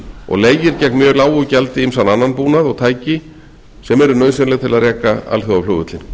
og leigir gegn mjög lágu gjaldi ýmsan annan búnað og tæki sem eru nauðsynleg til að reka alþjóðaflugvöllinn